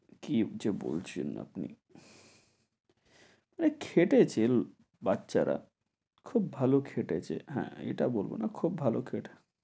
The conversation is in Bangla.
কী যে বলছেন আপনি। খেটেছে লো~ বাচ্চারা খুব ভালো খেটেছে। হ্যাঁ, এটা বলব না খুব ভালো খেট~